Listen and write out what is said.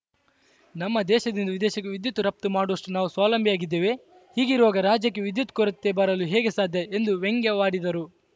ನಮ್ಮ ದೇಶದಿಂದ ವಿದೇಶಕ್ಕೆ ವಿದ್ಯುತ್‌ ರಫ್ತು ಮಾಡುವಷ್ಟುನಾವು ಸ್ವಾವಲಂಬಿಯಾಗಿದ್ದೇವೆ ಹೀಗಿರುವಾಗ ರಾಜ್ಯಕ್ಕೆ ವಿದ್ಯುತ್‌ ಕೊರತೆ ಬರಲು ಹೇಗೆ ಸಾಧ್ಯ ಎಂದು ವ್ಯಂಗ್ಯವಾಡಿದರು